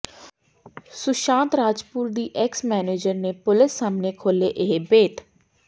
ਸੁਸ਼ਾਂਤ ਰਾਜਪੂਤ ਦੀ ex manager ਨੇ police ਸਾਹਮਣੇ ਖੋਲ੍ਹੇ ਇਹ ਭੇਤ